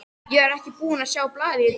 Ég var ekki búinn að sjá blaðið í dag.